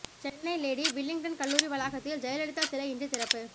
Chennai Lady Willingdon கல்லூரி வளாகத்தில் ஜெயலலிதா சிலை இன்று திறப்பு